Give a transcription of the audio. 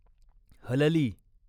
हलली